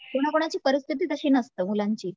कोणा कोणाची परिस्थिति तशी नसते, मुलांची